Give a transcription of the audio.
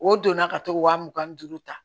O donna ka t'o wa mugan ni duuru ta